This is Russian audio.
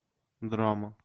драма